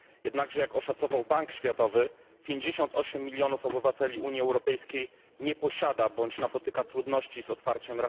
Jednakże, jak oszacował Bank Światowy, 58 milionów obywateli Unii Europejskiej nie posiada rachunku bądź napotyka trudności z jego otwarciem.